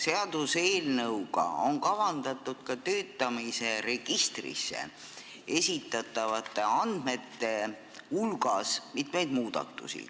Seaduseelnõuga on kavandatud ka töötamise registrisse esitatavate andmete hulgas mitmeid muudatusi.